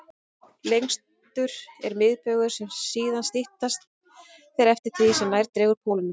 Lengstur er miðbaugur, en síðan styttast þeir eftir því sem nær dregur pólunum.